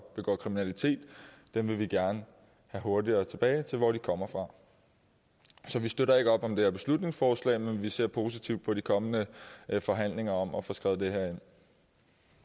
kriminalitet vil vi gerne have hurtigere tilbage til der hvor de kommer fra så vi støtter ikke op om det her beslutningsforslag men ser positivt på de kommende forhandlinger om at få skrevet det